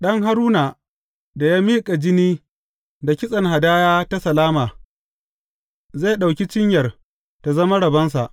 Ɗan Haruna da ya miƙa jini da kitsen hadaya ta salama, zai ɗauki cinyar tă zama rabonsa.